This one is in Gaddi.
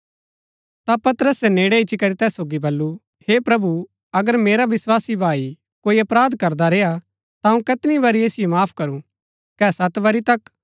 ता पतरसे नेड़ै इच्ची करी तैस सोगी बल्लू हे प्रभु अगर मेरा विस्वासी भाई कोई अपराध करदा रेय्आ ता अऊँ कैतनी बरी ऐसिओ माफ करू कै सत बारी तक